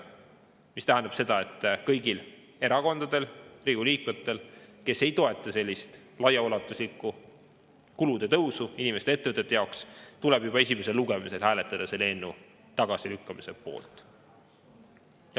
See tähendab seda, et kõigil erakondadel, Riigikogu liikmetel, kes ei toeta sellist laiaulatuslikku kulude tõusu inimeste ja ettevõtete jaoks, tuleb juba esimesel lugemisel hääletada selle eelnõu tagasilükkamise poolt.